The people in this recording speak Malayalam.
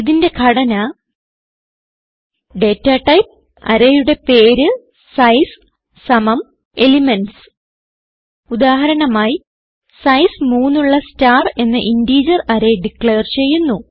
ഇതിന്റെ ഘടന data ടൈപ്പ് അറേയുടെ പേര് സൈസ് സമം എലിമെന്റ്സ് ഉദാഹരണമായി സൈസ് 3 ഉള്ള സ്റ്റാർ എന്ന ഇന്റർജർ അറേ ഡിക്ലയർ ചെയ്യുന്നു